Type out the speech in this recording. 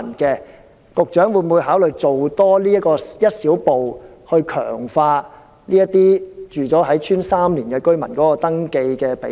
局長會否考慮多走一小步，提高這些已在鄉村居住3年的居民的登記比例？